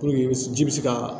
i bɛ ji bɛ se ka